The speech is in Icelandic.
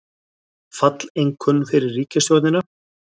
Falleinkunn fyrir ríkisstjórnina